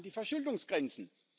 an die Verschuldungsgrenzen.